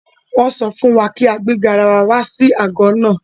Wọ́n sọ fún wa kí a gbé garawa wá sí àgọ́ náà.